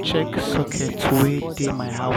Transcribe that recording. check sockets wey dey my house.